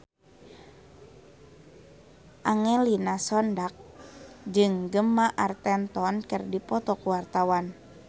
Angelina Sondakh jeung Gemma Arterton keur dipoto ku wartawan